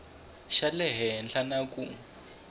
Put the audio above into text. xa le henhla na ku